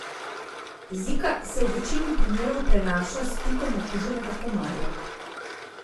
Zika se v večini primerov prenaša s pikom okuženega komarja.